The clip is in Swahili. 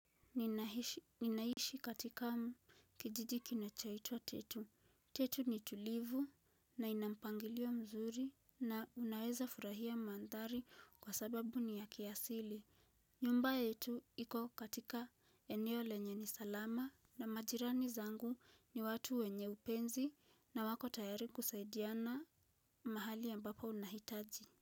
Ninaishi katika kijiji kinachoitwa tetu. Tetu ni tulivu na ina mpangilio mzuri na unaweza furahia maandari kwa sababu ni ya kiasili. Nyumba yetu iko katika eneo lenye ni salama na majirani zangu ni watu wenye upenzi na wako tayari kusaidiana mahali ambapo unahitaji.